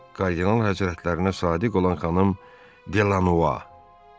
Kardinal həzrətlərinə sadiq olan xanım Delanova.